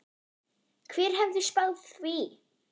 Hver hefði spáð því?